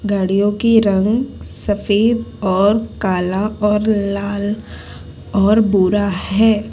गाडियों के रंग सफेद और काला और लाल और भूरा है।